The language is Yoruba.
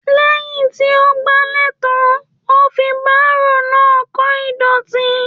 Lẹyìn tí o gbàlẹ tán, o fí baro náà kò ìdọ̀tí.